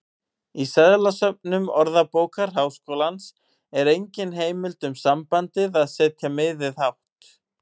Í seðlasöfnum Orðabókar Háskólans er engin heimild um sambandið að setja miðið hátt.